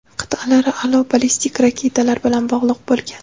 qit’alararo ballistik raketalar bilan bog‘liq bo‘lgan.